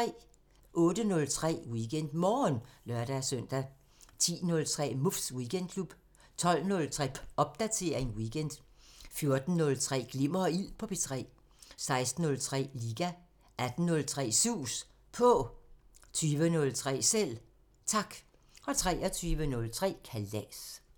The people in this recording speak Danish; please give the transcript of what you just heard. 08:03: WeekendMorgen (lør-søn) 10:03: Muffs Weekendklub 12:03: Popdatering weekend 14:03: Glimmer og Ild på P3 16:03: Liga 18:03: Sus På 20:03: Selv Tak 23:03: Kalas